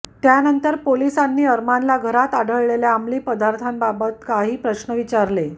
त्यानंतर पोलिसांनी अरमानला घरात आढळलेल्या अंमली पदार्थांबाबतीत काही प्रश्न विचारले